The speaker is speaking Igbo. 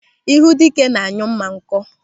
Ịhụ dike na-anyụ mma nkọ.